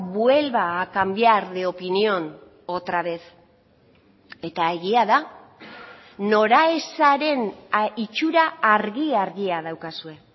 vuelva a cambiar de opinión otra vez eta egia da noraezaren itxura argi argia daukazue